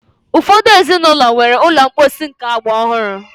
Ụfọdụ ezinụlọ nwere ụlọ mposi nke agba ọhụrụ.